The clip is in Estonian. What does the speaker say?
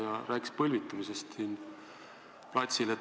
Ta rääkis ka põlvitamisest siin platsil.